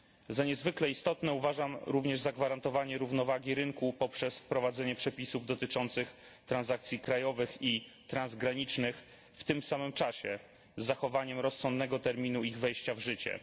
Za niezwykle istotne uważam również zagwarantowanie równowagi rynku poprzez wprowadzenie przepisów dotyczących transakcji krajowych i transgranicznych w tym samym czasie, z zachowaniem rozsądnego terminu ich wejścia w życie.